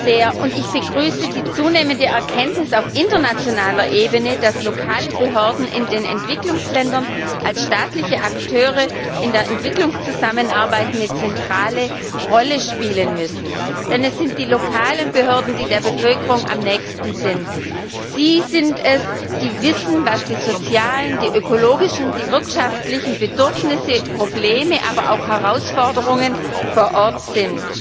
Frau Präsidentin! Ich begrüße den Bericht sehr, und ich begrüße die zunehmende Erkenntnis auf internationaler Ebene, dass lokale Behörden in den Entwicklungsländern als staatliche Akteure in der Entwicklungszusammenarbeit eine zentrale Rolle spielen müssen. Denn es sind die lokalen Behörden, die der Bevölkerung am nächsten sind. Sie sind es, die wissen, was die sozialen, die ökologischen, die wirtschaftlichen Bedürfnisse, die Probleme, aber auch die Herausforderungen vor Ort sind.